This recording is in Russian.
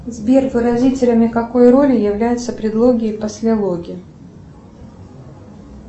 сбер выразителями какой роли являются предлоги и послелоги